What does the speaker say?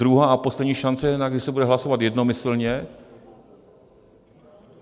Druhá a poslední šance, kde se bude hlasovat jednomyslně?